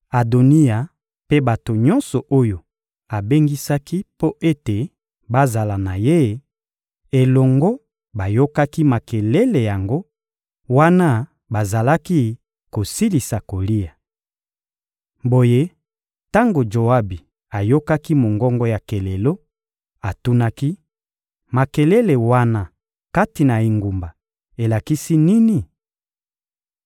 Adoniya mpe bato nyonso oyo abengisaki mpo ete bazala na ye elongo bayokaki makelele yango wana bazalaki kosilisa kolia. Boye, tango Joabi ayokaki mongongo ya kelelo, atunaki: — Makelele wana kati na engumba elakisi nini?